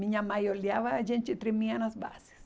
Minha mãe olhava, a gente tremia nas bases.